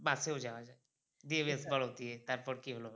bus এও যাওয়া যায় দিয়ে বেশ বলো কি তারপর কী হলো?